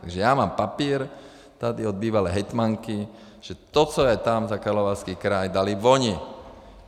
Takže já mám papír tady od bývalé hejtmanky, že to, co je tam za Karlovarský kraj, dali oni.